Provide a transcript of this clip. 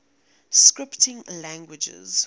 scripting languages